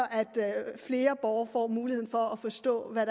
flere borgere får mulighed for at forstå hvad